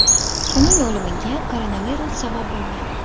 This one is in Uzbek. Uning o‘limiga koronavirus sabab bo‘lgan.